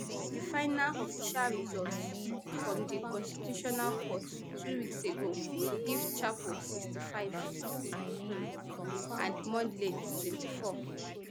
di final official results from di constitutional court two weeks ago give chapo sixty-five um and mondlane twenty-four